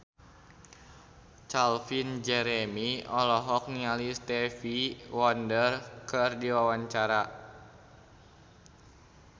Calvin Jeremy olohok ningali Stevie Wonder keur diwawancara